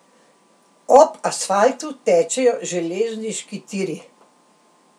Ob asfaltu tečejo železniški tiri.